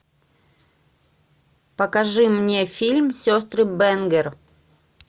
покажи мне фильм сестры бэнгер